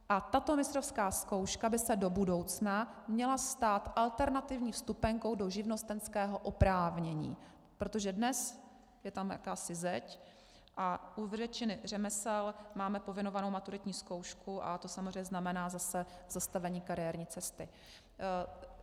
A tato mistrovská zkouška by se do budoucna měla stát alternativní vstupenkou do živnostenského oprávnění, protože dnes je tam jakási zeď a u většiny řemesel máme povinovanou maturitní zkoušku a to samozřejmě znamená zase zastavení kariérní cesty.